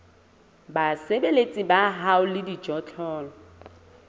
basebeletsi ba hao le dijothollo